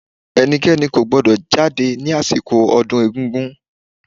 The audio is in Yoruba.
Ẹnikẹ́ni kò gbọ́dọ̀ jáde síta ní àsìkò ọdún egúngún